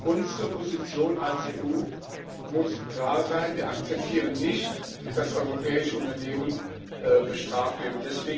Unsere Position als EU muss klar sein Wir akzeptieren nicht, dass europäische Unternehmen bestraft werden.